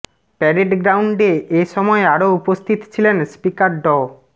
parade গ্রাউন্ডে এ সময় আরও উপস্থিত ছিলেন স্পিকার ড